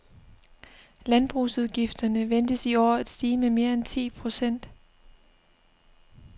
Landbrugsudgifterne ventes i år at stige med mere end ti procent.